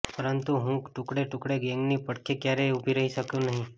પરંતુ હું ટુકડે ટુકડે ગેંગની પડખે ક્યારેય ઉભી રહી શકું નહીં